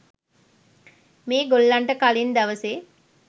මේ ගොල්ලන්ට කලින් දවසේ